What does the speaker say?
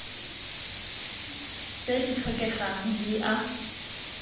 tse di tlhokegang di a